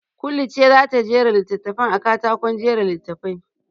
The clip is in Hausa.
Kulu ce za ta jera littattafan a katakon jera littafi.